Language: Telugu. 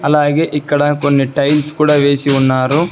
అలాగే ఇక్కడ కొన్ని టైల్స్ కుడ వేసి ఉన్నారు.